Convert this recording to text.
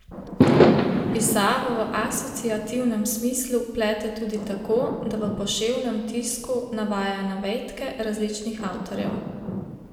Pisavo v asociativnem smislu plete tudi tako, da v poševnem tisku navaja navedke različnih avtorjev.